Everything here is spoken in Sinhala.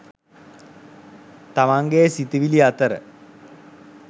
තමන්ගේ සිතිවිලි අතර